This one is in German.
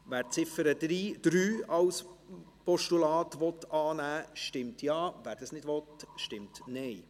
Wer die Ziffer 3 als Postulat annehmen will, stimmt Ja, wer dies nicht will, stimmt Nein.